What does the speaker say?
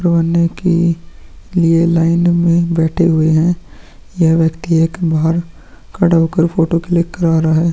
रोने की लिए लाइन में बैठे हुए हैं यह व्यक्ति एक बाहार खड़ा होकर फोटो क्लिक करा रहा है।